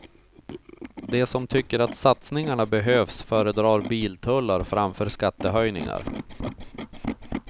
De som tycker att satsningarna behövs föredrar biltullar framför skattehöjningar.